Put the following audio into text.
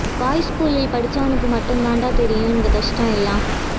boys ஸ்கூல் ல படிச்சவனுக்கு மட்டும் தாண்டா தெரியும் இந்த கஷ்டம் எல்லாம்